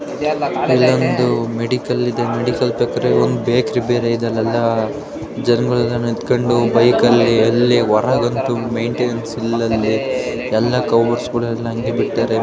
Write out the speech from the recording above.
ಇಲ್ಲೊಂದು ಮೆಡಿಕಲ್ ಇದೆ ಮೆಡಿಕಲ್ ಪಕ್ಕದಲ್ಲಿ ಒಂದು ಬೇಕರಿ ಬೇರೆ ಇದೆ ಅಲ್ಲೆಲ್ಲ ಜನಗಳು ನಿಂತ್ಕೊಂಡು ಬೈಕಲ್ಲಿ ಅಲ್ಲಿ ಹೊರಗಂತೂ ಮೇನ್ಟೇನ್ಸ್ ಇಲ್ದಲೇ ಎಲ್ಲಾ ಕವರ್ಸ್ ಗಳೆಲ್ಲ ಅಂಗೆ ಬಿಟ್ಟವ್ರೆ.